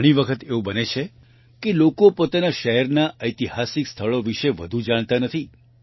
ઘણી વખત એવું બને છે કે લોકો પોતાના શહેરના ઐતિહાસિક સ્થળો વિશે વધુ જાણતા નથી